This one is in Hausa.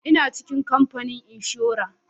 Ina cikin kamfanin inshora